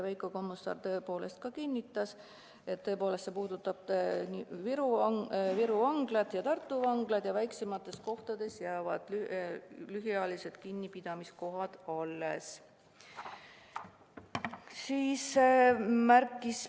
Veiko Kommusaar kinnitas, et tõepoolest, see puudutab Viru Vanglat ja Tartu Vanglat ja väiksemates kohtades jäävad lühiajalise kinnipidamise kohad alles.